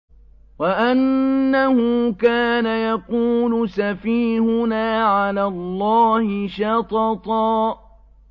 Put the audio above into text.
وَأَنَّهُ كَانَ يَقُولُ سَفِيهُنَا عَلَى اللَّهِ شَطَطًا